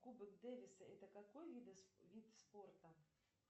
кубок дэвиса это какой вид спорта